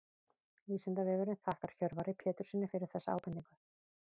Vísindavefurinn þakkar Hjörvari Péturssyni fyrir þessa ábendingu.